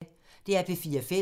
DR P4 Fælles